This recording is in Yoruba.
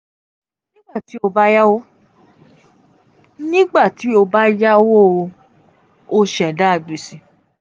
nigbati o nigbati o ba yawo o ṣẹda gbese.